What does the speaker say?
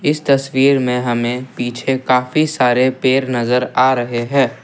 इस तस्वीर में हमें पीछे काफी सारे पेर नजर आ रहे हैं।